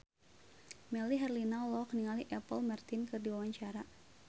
Melly Herlina olohok ningali Apple Martin keur diwawancara